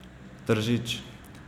Tržič.